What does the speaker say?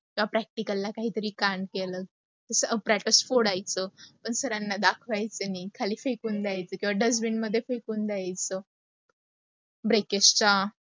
त्या practical ला काही तरी कांड केल, जस appretes फोडायच, मग sir ना दाखवायच आणी खाली फेकून द्यायच किवा dustbin मध्ये फेकून द्यायचं. ब्रेकस्त्र